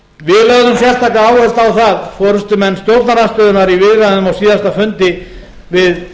sérstaka áherslu á það forustumenn stjórnarandstöðunnar í viðræðum á síðasta fundi við